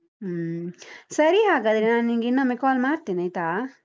ಹ್ಮ್, ಸರಿ ಹಾಗಾದ್ರೆ ನಾ ನಿನ್ಗೆ ಇನ್ನೊಮ್ಮೆ call ಮಾಡ್ತೇನೆ ಆಯ್ತಾ.